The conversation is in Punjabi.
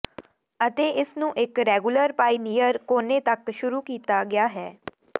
ਅਤੇ ਇਸ ਨੂੰ ਇੱਕ ਰੈਗੂਲਰ ਪਾਇਨੀਅਰ ਕੋਨੇ ਤੱਕ ਸ਼ੁਰੂ ਕੀਤਾ ਗਿਆ ਹੈ